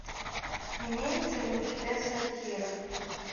имеется ли у тебя сатира